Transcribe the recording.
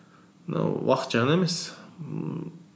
мынау уақыт жағынан емес ммм